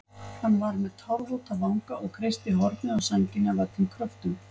Hann var með tárvota vanga og kreisti hornið á sænginni af öllum kröftum.